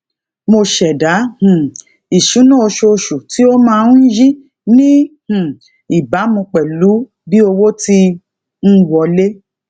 mo ṣẹdá um ìṣúná oṣooṣù tí ó máa ń yí ní um ìbámu pèlú bí owó ti ń wọlé